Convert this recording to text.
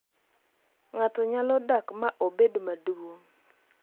ng'ato nyalo dak ma obed maduong